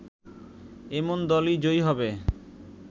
এমন দলই জয়ী হবে